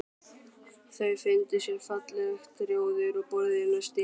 Þau fundu sér fallegt rjóður og borðuðu nestið.